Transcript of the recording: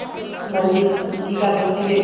ਹਾਂਜੀ ਕੀ ਕਰਦੇ ਸੀਗੇ